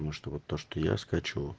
потому что вот то что я скачу